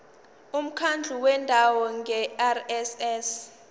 umkhandlu wendawo ngerss